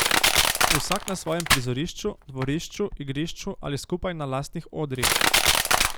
Vsak na svojem prizorišču, dvorišču, igrišču ali skupaj na lastnih odrih.